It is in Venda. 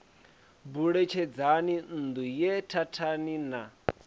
buletshedzani nṋdu ye thathani na